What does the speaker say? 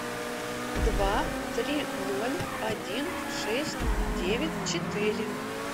два три ноль один шесть девять четыре